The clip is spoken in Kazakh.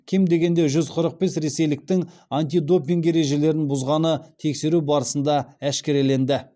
кем дегенде жүз қырық бес ресейліктің антидопинг ережелерін бұзғаны тексеру барысында әшкереленді